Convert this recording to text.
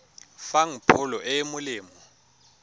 fang pholo e e molemo